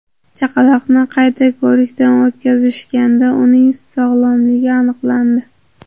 Chaqaloqni qayta ko‘rikdan o‘tkazishganda, uning sog‘lomligi aniqlandi.